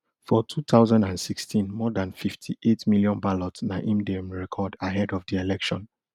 for two thousand and sixteen more dan fifty-eight million ballots na im dem record ahead of di election